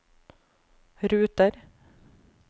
ruter